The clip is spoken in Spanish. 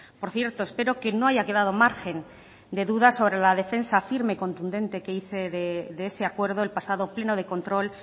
por cierto espero que no haya quedado margen de duda sobre la defensa firme y contundente que hice de ese acuerdo el pasado pleno de control